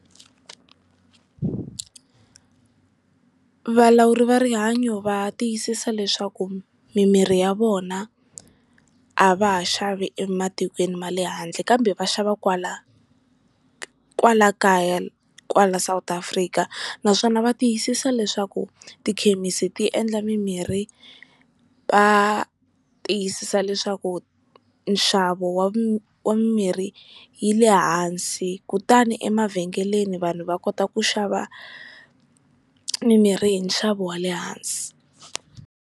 Valawuri va rihanyo va tiyisisa leswaku mimirhi ya vona a va ha xavi ematikweni ma le handle, kambe va xava kwala kwala kaya kwala South Afrika, naswona va tiyisisa leswaku tikhemisi ti endla mimirhi va tiyisisa leswaku nxavo wa mimirhi yi le hansi kutani emavhengeleni vanhu va kota ku xava mimirhi hi nxavo wa le hansi.